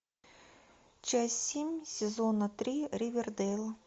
часть семь сезона три ривердэйл